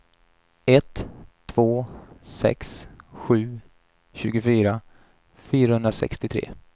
ett två sex sju tjugofyra fyrahundrasextiotre